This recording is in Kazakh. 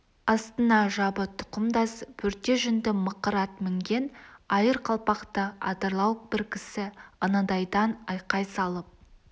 астына жабы тұқымдас бөрте жүнді мықыр ат мінген айыр қалпақты адырлау бір кісі анадайдан айқай салып